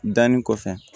Danni kɔfɛ